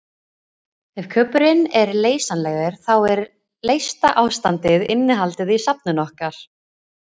Ef kubburinn er leysanlegur þá er leysta ástandið innihaldið í safninu okkar.